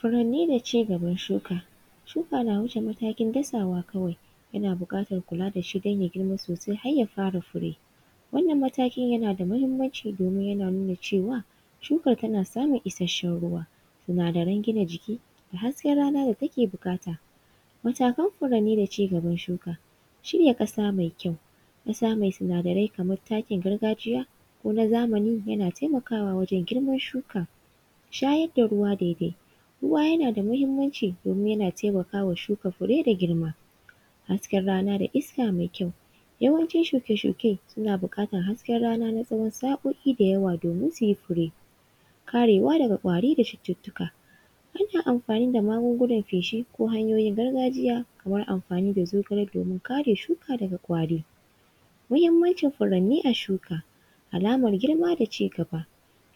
Furanni da ci gaban shuka. Shuka na wuce matakin dasawa kawai. Yana buƙatar kula da shi don ya girma sosai har ya fara fure. Wannan matakin yana da muhimmanci domin yana nuna cewa shukar tana samun isasshen ruwa. Sinadaran gina jiki da hasken rana da take buƙata. Matakan furanni da ci gaban shuka: shirya ƙasa mai kyau, ƙasa mai sinadarai kamar takin gargajiya ko na zamani yana taimakawa wajen girman shuka. Shayar da ruwa daidai, ruwa yana da muhimmanci domin yana taimaka wa shuka fure da girma. Hasken rana da iska mai kyau, yawancin shuke-shuke suna buƙatar hasken rana na tsawon sa’o’i da yawa domin su yi fure. Karewa daga ƙwari da cututtuka, hanyar amfani da magugunan feshi ko hanyoyin gargajiya, kamar amfani da zogale domin kare shuka daga ƙwari. Muhimmanci furanni a shuka, alamar girma da ci gaba,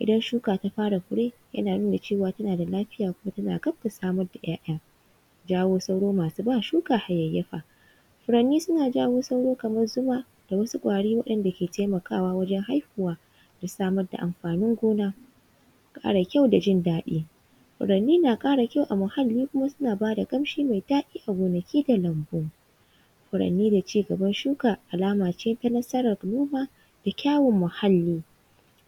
idan shuka ta fara fure, yana nuna cewa tana da lafiya kuma tana gab da samar da ‘ya’ya. Jawo sauro masu ba shuka hayayyafa, furanni suna jawo sauro kamar zuma da wasu ƙwari waɗanda suke taimakawa wajen haihuwa da samar da amfanin gona. Fara kyau da jin daɗi, furanni na ƙara kyau a muhalli kuma suna ba da ƙamshi mai daɗi a gonaki da lambu. Furanni da ci gaban shuka, alama ce ta nasarar noma da kyawu muhalli.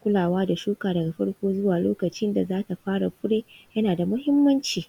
Kulawa da shuka daga farko zuwa lokacin da za ta fara fure yana da muhimmanci.